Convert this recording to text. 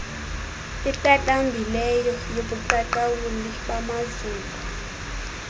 iqaqambileyo yobuqaqawuli bamazulu